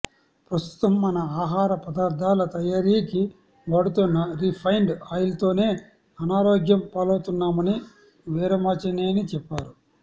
ప్రస్తుతం మనం ఆహార పదార్థాల తయారీకి వాడుతున్న రీఫైండ్ ఆయిల్స్ తోనే అనారోగ్యం పాలవుతున్నామని వీరమాచినేని చెప్పారు